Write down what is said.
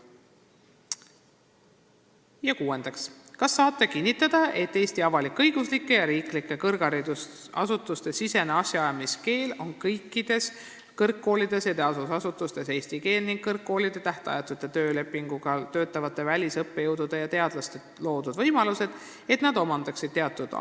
Ja kuuendaks: "Kas saate kinnitada, et Eesti avalik-õiguslike ja riiklike kõrgharidusasutuste sisene asjaajamiskeel on kõikides kõrgkoolides ja teadusasutustes eesti keel ning kõrgkoolides tähtajatu lepinguga töötavatele välisõppejõududele ja -teadlastele on loodud võimalused, et nad omandaksid teatud aja [...